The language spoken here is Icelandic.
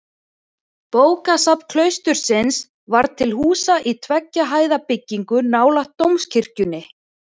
Bókasafn klaustursins var til húsa í tveggja hæða byggingu nálægt dómkirkjunni.